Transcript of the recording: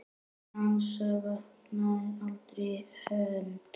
Dengsa vantaði aldrei hönd.